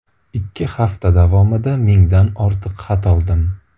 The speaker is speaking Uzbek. Ikki hafta davomida mingdan ortiq xat oldim.